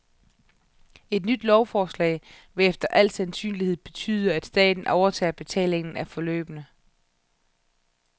Et nyt lovforslag vil efter al sandsynlighed betyde, at staten overtager betalingen af forløbene.